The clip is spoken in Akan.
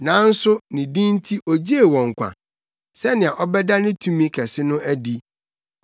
Nanso ne din nti ogyee wɔn nkwa, sɛnea ɔbɛda ne tumi kɛse no adi.